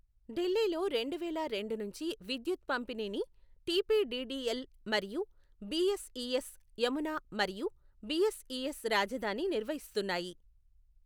ఢిల్లీలో రెండువేల రెండు నుంచి విద్యుత్ పంపిణీని టీపీడీడీఎల్ మరియు బీఎస్ఈఎస్ యమునా మరియు బీఎస్ఈఎస్ రాజధాని నిర్వహిస్తున్నాయి.